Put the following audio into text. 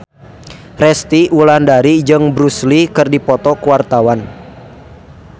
Resty Wulandari jeung Bruce Lee keur dipoto ku wartawan